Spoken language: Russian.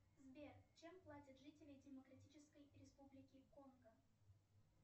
сбер чем платят жители демократической республики конго